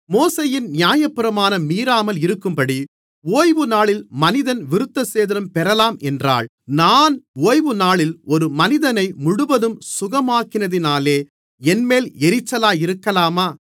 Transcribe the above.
மோசேயின் நியாயப்பிரமாணம் மீறாமல் இருக்கும்படி ஓய்வுநாளில் மனிதன் விருத்தசேதனம் பெறலாம் என்றால் நான் ஓய்வுநாளில் ஒரு மனிதனை முழுவதும் சுகமாக்கினதினாலே என்மேல் எரிச்சலாயிருக்கலாமா